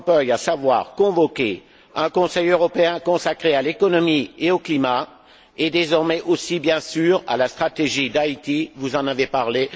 Van Rompuy, à savoir de convoquer un Conseil européen consacré à l'économie et au climat et, désormais aussi, bien sûr, à la stratégie d'Haïti vous en avez parlé